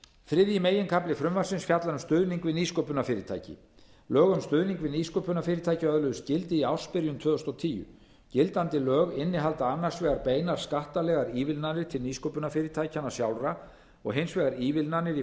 þriðji meginkafli frumvarpsins fjallar um stuðning við nýsköpunarfyrirtæki lög um stuðning við nýsköpunarfyrirtæki öðluðust gildi í ársbyrjun tvö þúsund og tíu gildandi lög innihalda annars vegar beinar skattalegar ívilnanir til nýsköpunarfyrirtækjanna sjálfra og hins vegar ívilnanir í